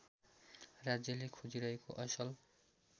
राज्यले खोजिरहेको असल